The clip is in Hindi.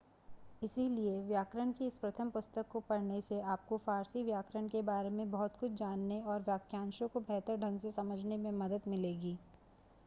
इसलिए व्याकरण की इस प्रथम पुस्तक को पढ़ने से आपको फारसी व्याकरण के बारे में बहुत कुछ जानने और वाक्यांशों को बेहतर ढंग से समझने में मदद मिलेगी